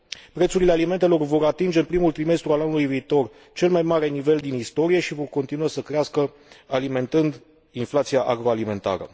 Prețurile alimentelor vor atinge în primul trimestru al anului viitor cel mai mare nivel din istorie și vor continua să crească, alimentând inflația agroalimentară.